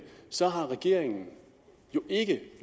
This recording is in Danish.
så har regeringen ikke